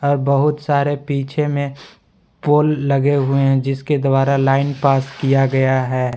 बहुत सारे पीछे में पोल लगे हुए हैं जिसके द्वारा लाइन पास किया गया है।